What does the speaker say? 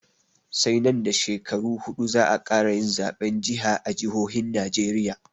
Sai nan da shekaru huɗu za'a ƙara yin zaɓen jiha a jihohin najeriya